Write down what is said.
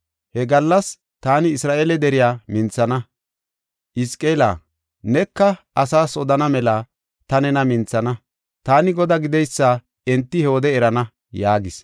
“He gallas taani Isra7eele deriya minthana. Hizqeela, neka asaas odana mela ta nena minthana. Taani Godaa gideysa enti he wode erana” yaagis.